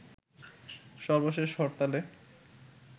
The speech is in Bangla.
সর্বশেষ হরতালে